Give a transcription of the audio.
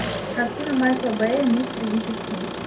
картина майкла бэя мистер и миссис смит